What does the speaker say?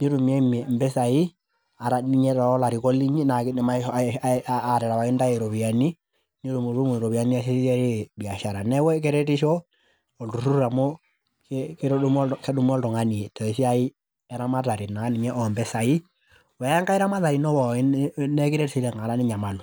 nitumiemie impisai ata dii ninye tolarikok linyi naa kidim atarewaki intae iropiyiani , nitumutumu iropiyiani niasiesie biashara. Niaku keretisho oltururur amu kedumu oltungani tesiai naa ninye eramatare ompisai wenkae ramatare ino pookin naa ekiret sii tenkata ninyamalu.